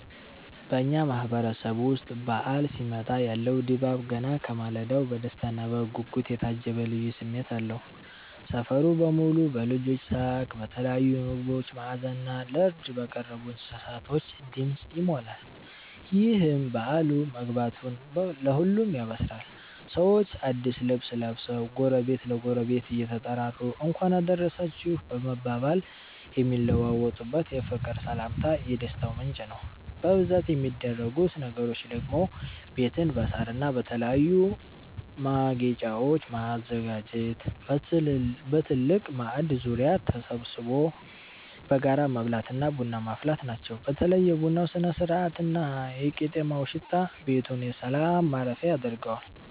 በኛ ማህበረሰብ ዉስጥ በዓል ሲመጣ ያለው ድባብ ገና ከማለዳው በደስታና በጉጉት የታጀበ ልዩ ስሜት አለው። ሰፈሩ በሙሉ በልጆች ሳቅ፤ በተለያዩ ምግቦች መዓዛና ለርድ በቀረቡ እንስሳቶች ድምፅ ይሞላል። ይህም በዓሉ መግባቱን ለሁሉም ያበስራል። ሰዎች አዲስ ልብስ ለብሰው፣ ጎረቤት ለጎረቤት እየተጠራሩ "እንኳን አደረሳችሁ" በመባባል የሚለዋወጡት የፍቅር ሰላምታ የደስታው ምንጭ ነው። በብዛት የሚደረጉት ነገሮች ደግሞ ቤትን በሳርና በተለያዩ ማጌጫወች ማዘጋጀት፣ በትልቅ ማዕድ ዙሪያ ተሰብስቦ በጋራ መብላትና ቡና ማፍላት ናቸው። በተለይ የቡናው ስነ-ስርዓትና የቄጤማው ሽታ ቤቱን የሰላም ማረፊያ ያደርገዋል።